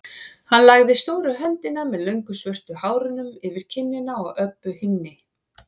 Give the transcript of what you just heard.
Hann lagði stóru höndina með löngu svörtu hárunum yfir kinnina á Öbbu hinni.